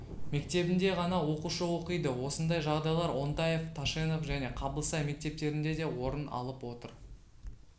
мектебінде ғана оқушы оқиды осындай жағдайлар онтаев ташенов және қабылсай мектептерінде де орын алып отыр